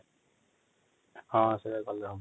ହଁ ସେଇୟା କଲେ ହବ |